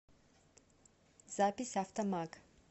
запись автомаг